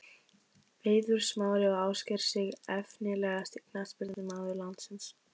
Eiður Smári og Ásgeir Sig Efnilegasti knattspyrnumaður landsins?